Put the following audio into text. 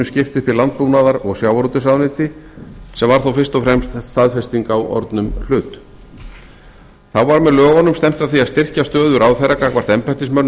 upp í landbúnaðar og sjávarútvegsráðuneyti sem var þó fyrst og fremst staðfesting á orðnum hlut þá var með lögunum stefnt að því að styrkja stöðu ráðherra gagnvart embættismönnum